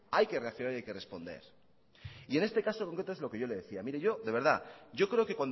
hay que reaccionar y hay que responder y en este caso concreto es lo que yo le decía mire yo de verdad yo creo que